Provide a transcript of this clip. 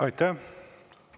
Aitäh!